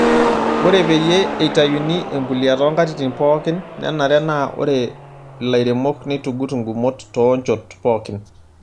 Ore peyie eitayuni embulia toonkatitin pookin, nenare naa ore ilairemok neitugut ngumot too nchoot pookin.